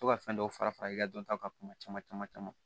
To ka fɛn dɔw fara fara i ka dɔntaw kan kuma caman caman caman